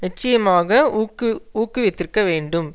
நிச்சயமாக ஊக்கு ஊக்குவித்திருக்கவேண்டும்